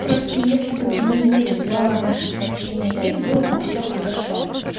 просто если бы ты не переслала наши сообщение ей было бы все хорошо